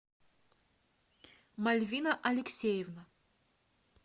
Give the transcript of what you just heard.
мальвина алексеевна